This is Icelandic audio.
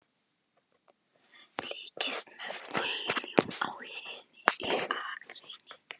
Fylgdist með bílum á hinni akreininni.